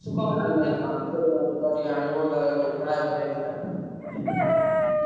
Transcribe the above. pamphlet ମାଛ ଟା ଆଣିବ fry କରିବାକୁ।